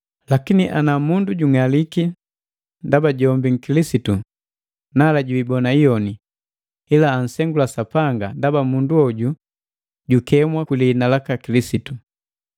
Lakini ana mundu jung'aliki ndaba jombi nkilisitu, nala jiibona iyoni, ila ansengula Sapanga, ndaba mundu hoju jukemwa kwi lihina laka Kilisitu.